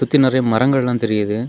சுத்தி நிறைய மரங்கள் எல்லா தெரியுது.